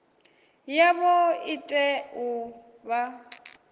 yavho i tea u vha